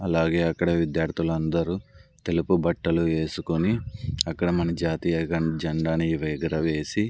అలాగే అక్కడ విద్యార్థులందరు తెలుపు బట్టలు వేసుకుని అక్కడ మన జాతీయ జెండాన్నీ ఎగురవేసి.